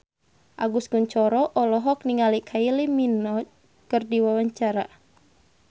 Agus Kuncoro olohok ningali Kylie Minogue keur diwawancara